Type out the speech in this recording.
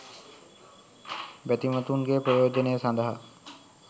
බැතිමතුන්ගේ ප්‍රයෝජනය සඳහා